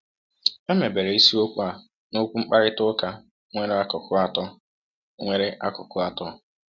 A mebere isiokwu a n’okwu mkparịta ụka nwere akụkụ atọ. nwere akụkụ atọ.